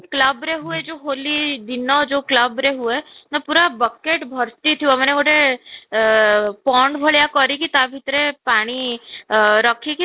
club ରେ ହୁଏ ଯୋଉ ହୋଲି ଦିନ club ରେ ହୁଏ ପୁରା bucket ଭର୍ତି ଥିବ ମାନେ ଗୋଟେ ଅଃ pond ଭଳିଆ କରିକି ତା ଭିତରେ ପାଣି ଅଃ ରଖିକି